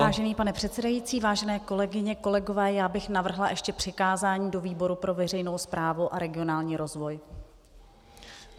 Vážený pane předsedající, vážené kolegyně, kolegové, já bych navrhla ještě přikázání do výboru pro veřejnou správu a regionální rozvoj.